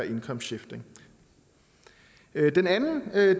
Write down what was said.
income shifting den anden